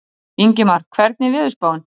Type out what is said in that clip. Ingmar, hvernig er veðurspáin?